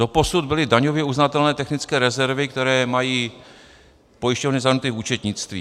Doposud byly daňově uznatelné technické rezervy, které mají pojišťovny zahrnuty v účetnictví.